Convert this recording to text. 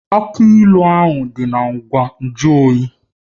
Aki ilu nọ n'elu ngwa nju oyi